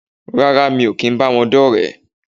Rárá mi ò kìí báwọn dọ́rẹ̀ẹ́